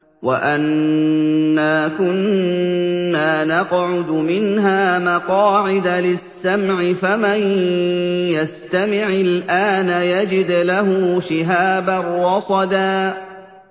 وَأَنَّا كُنَّا نَقْعُدُ مِنْهَا مَقَاعِدَ لِلسَّمْعِ ۖ فَمَن يَسْتَمِعِ الْآنَ يَجِدْ لَهُ شِهَابًا رَّصَدًا